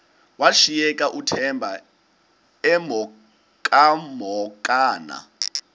washiyeka uthemba emhokamhokana